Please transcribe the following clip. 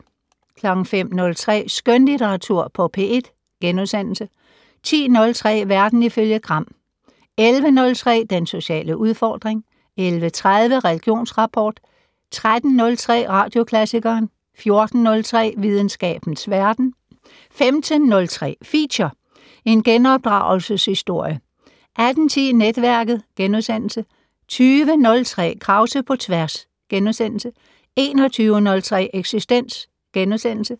05:03: Skønlitteratur på P1 * 10:03: Verden ifølge Gram 11:03: Den sociale udfordring 11:30: Religionsrapport 13:03: Radioklassikeren 14:03: Videnskabens Verden 15:03: Feature: En genopdragelses-historie 18:10: Netværket * 20:03: Krause på tværs * 21:03: Eksistens *